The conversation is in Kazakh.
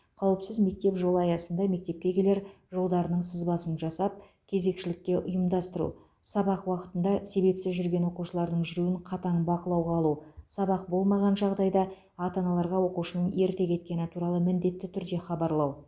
қауіпсіз мектеп жолы аясында мектепке келер жолдарының сызбасын жасап кезекшілік ұйымдастыру сабақ уақытында себепсіз жүрген оқушылардың жүруін қатаң бақылауға алу сабақ болмаған жағдайда ата аналарға оқушының ерте кеткені туралы міндетті түрде хабарлау